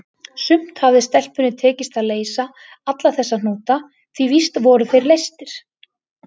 Samt hafði stelpunni tekist að leysa alla þessa hnúta, því víst voru þeir leystir.